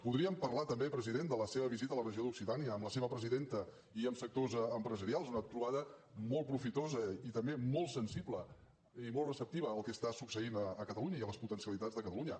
podríem parlar també president de la seva visita a la regió d’occitània amb la seva presidenta i amb sectors empresarials una trobada molt profitosa i també molt sensible i molt receptiva al que està succeint a catalunya i a les potencialitats de catalunya